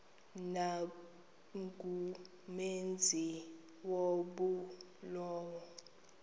nangumenzi wobubi lowo